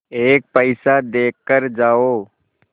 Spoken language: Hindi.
एक पैसा देकर जाओ